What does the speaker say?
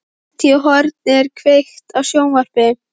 Úti í horni er kveikt á sjónvarpi.